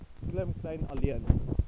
klim kleyn alleen